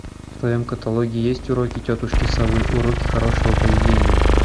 в твоем каталоге есть уроки тетушки совы уроки хорошего поведения